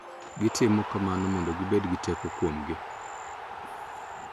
Gitimo kamano mondo gibed gi teko kuomgi .